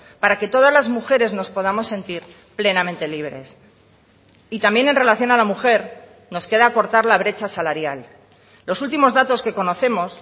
para que todas las mujeres nos podamos sentir plenamente libres y también en relación a la mujer nos queda acortar la brecha salarial los últimos datos que conocemos